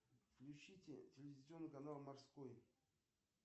включите телевизионный канал морской